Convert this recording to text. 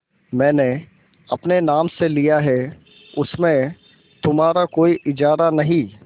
मैंने अपने नाम से लिया है उसमें तुम्हारा कोई इजारा नहीं